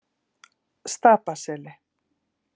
Stapaseli